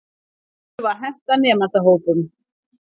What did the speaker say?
Þær þurfa að henta nemendahópnum.